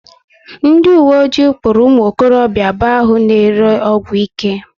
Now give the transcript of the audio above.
Ndi uwe kpụrụ ụmụ okorobịa abuo ahụ na ere ọgwụ ike